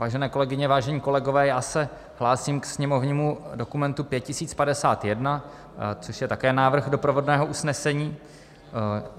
Vážené kolegyně, vážení kolegové, já se hlásím ke sněmovnímu dokumentu 5051, což je také návrh doprovodného usnesení.